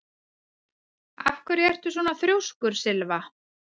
Af hverju ertu svona þrjóskur, Sylva?